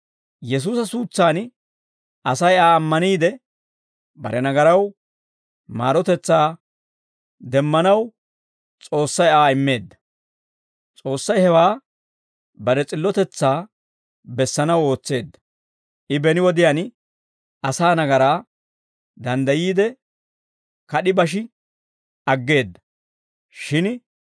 Yesuusa suutsaan Asay Aa ammaniide, bare nagaraw maarotetsaa demmanaw, S'oossay Aa immeedda; S'oossay hewaa bare s'illotetsaa bessanaw ootseedda; I beni wodiyaan asaa nagaraa danddayiide, kad'i bashi aggeedda; shin